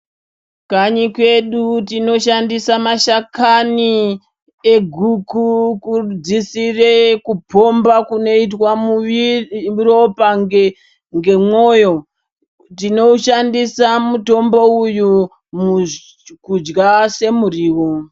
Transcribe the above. Kanyi kwedu tinoshandisa mashakani eguku kudzisire kuphomba kunoitwa ropa ngemwoyo. Tinoushandisa mutombo uyu kudya semuriwo.